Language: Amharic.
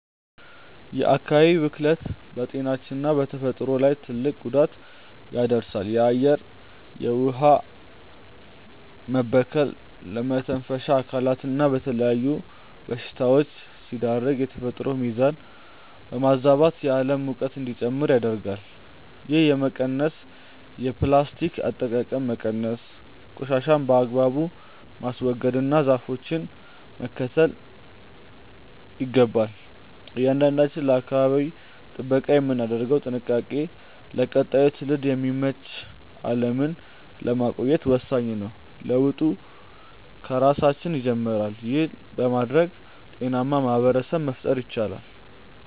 የአካባቢ ብክለት በጤናችንና በተፈጥሮ ላይ ትልቅ ጉዳት ያደርሳል። የአየርና የውኃ መበከል ለመተንፈሻ አካላትና ለተለያዩ በሽታዎች ሲዳርገን፣ የተፈጥሮን ሚዛን በማዛባትም የዓለም ሙቀት እንዲጨምር ያደርጋል። ይህንን ለመቀነስ የፕላስቲክ አጠቃቀምን መቀነስ፣ ቆሻሻን በአግባቡ ማስወገድና ዛፎችን መትከል ይገባል። እያንዳንዳችን ለአካባቢ ጥበቃ የምናደርገው ጥንቃቄ ለቀጣዩ ትውልድ የምትመች ዓለምን ለማቆየት ወሳኝ ነው። ለውጡ ከራሳችን ይጀምራል። ይህን በማድረግ ጤናማ ማኅበረሰብ መፍጠር ይቻላል።